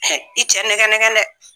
i cɛ nɛgɛn nɛgɛn dɛ